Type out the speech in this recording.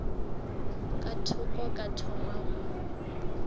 ka thoko ka thoma go